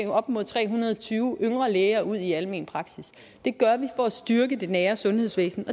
op mod tre hundrede og tyve yngre læger ud i almen praksis det gør vi for at styrke det nære sundhedsvæsen